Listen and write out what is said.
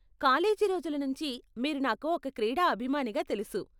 College రోజుల నుంచి మీరు నాకు ఒక క్రీడా అభిమానిగా తెలుసు.